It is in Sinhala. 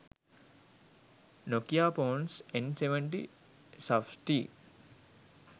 nokiaphones n70 suftey